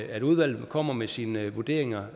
at udvalget kommer med sine vurderinger